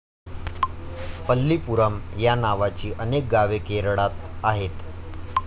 पल्लीपुरम या नावाची अनेक गावे केरळात आहेत.